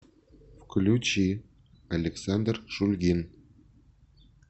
включи александр шульгин